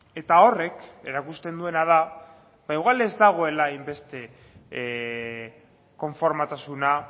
eta horrek erakusten duena da ba igual ez dagoela hainbeste konformetasuna